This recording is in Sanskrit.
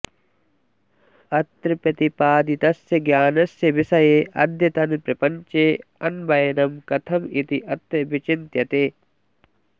अत्र प्रतिपादितस्य ज्ञानस्य विषये अद्यतनप्रपञ्चे अन्वयनं कथम् इति अत्र विचिन्त्यते